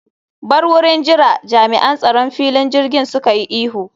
Bar wurin jira!, Jami'an tsaron filin jirgin suka yi ihu